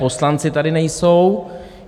Poslanci tady nejsou.